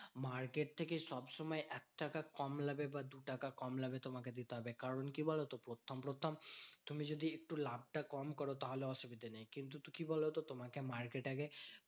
Market থেকে সবসময় একটাকা কম লাভে বা দুটাকা কম লাভে তোমাকে দিতে হবে। কারণ কি বলতো? প্রথম প্রথম তুমি যদি একটু লাভটা কম করো তাহলে অসুবিধা নেই। কিন্তু কি বলতো? তোমাকে market আগে